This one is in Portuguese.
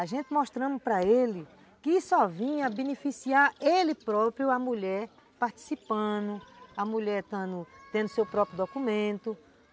A gente mostrando para ele que só vinha beneficiar ele próprio, a mulher participando, a mulher tendo seu próprio documento.